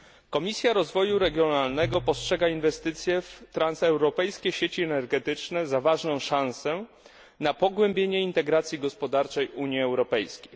Komisja Rozwoju Regionalnego postrzega inwestycje w transeuropejskie sieci energetyczne za ważną szansę na pogłębienie integracji gospodarczej Unii Europejskiej.